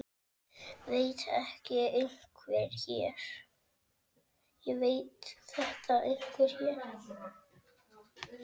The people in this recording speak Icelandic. Veit þetta einhver hér?